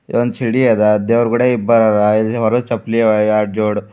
ಒಂದು ಛಡಿ ಅದ ದೇವರ್ ಗುಡಿಯಾಗ್ ಇಬ್ಬರರ ಇಲ್ ಹೊರಗ್ ಚಪ್ಲಿ ಅವ ಎರಡು ಜೋಡ್.